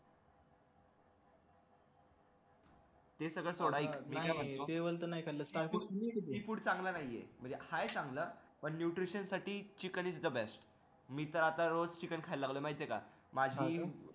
C Food चांगला नाहीये म्हणजे हाय चांगलं पण nutrition साठी चिकन is the best मी तर आता रोज चिकन खायला लागलोय माहितेय का